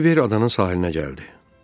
Kiber adanın sahilinə gəldi.